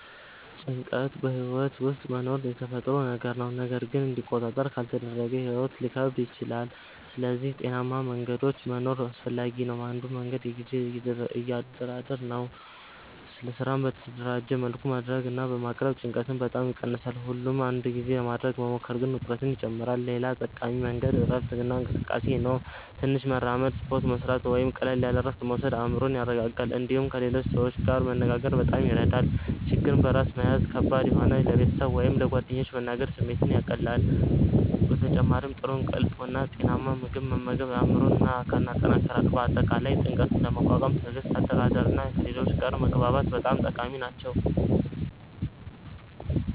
ጭንቀት በሕይወት ውስጥ መኖሩ የተፈጥሮ ነገር ነው፣ ግን እንዲቆጣጠር ካልተደረገ ሕይወት ሊከብድ ይችላል። ስለዚህ ጤናማ መንገዶች መኖር አስፈላጊ ነው። አንዱ መንገድ የጊዜ አደራደር ነው። ስራን በተደራጀ መልኩ ማድረግ እና ማቅረብ ጭንቀትን በጣም ይቀንሳል። ሁሉን በአንድ ጊዜ ለማድረግ መሞከር ግን ውጥረትን ይጨምራል። ሌላ ጠቃሚ መንገድ እረፍት እና እንቅስቃሴ ነው። ትንሽ መራመድ፣ ስፖርት መስራት ወይም ቀላል እረፍት መውሰድ አእምሮን ያረጋጋል። እንዲሁም ከሌሎች ሰዎች ጋር መነጋገር በጣም ይረዳል። ችግርን በራስ መያዝ ከባድ ሲሆን ለቤተሰብ ወይም ለጓደኞች መናገር ስሜትን ያቀላል። በተጨማሪም ጥሩ እንቅልፍ እና ጤናማ ምግብ መመገብ አእምሮን እና አካልን ያጠናክራል። በአጠቃላይ ጭንቀትን ለመቋቋም ትዕግስት፣ አደራደር እና ከሌሎች ጋር መግባባት በጣም ጠቃሚ ናቸው።